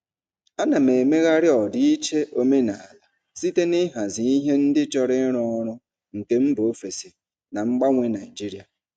Ana m emegharị ọdịiche omenala site n'ịhazi ihe ndị chọrọ ịrụ ọrụ nke mba ofesi na mgbanwe Nigeria.